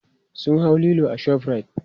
sun hau Lilo a shoprite